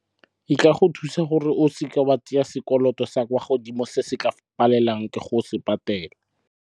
E ka go thusa gore o seke wa tsaya sekoloto sa kwa godimo se se ka go palelang ke go se patela.